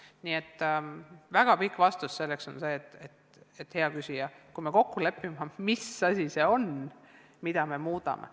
Nii et väga pikk vastus on see, hea küsija, et me peame kokku leppima, mis asi see on, mida me muudame.